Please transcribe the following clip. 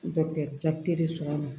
cɛtere sɔgɔma